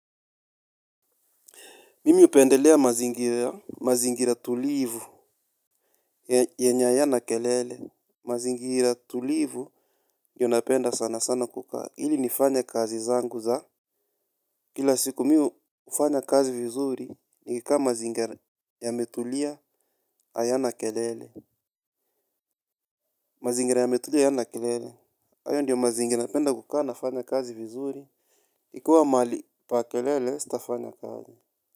Mimi hupendelea mazingira tulivu yenye hayana kelele. Mazingira tulivu ndio napenda sana sana kukaa. Hili nifanya kazi zangu za. Kila siku mi hufanya kazi vizuri nikikaa mazingira ya mmetulia hayana kelele. Mazingira yametulia hayana kelele. Hayo ndio mazingira napenda kukaa nafanya kazi vizuri. Ikua mali pa kelele sitafanya kazi.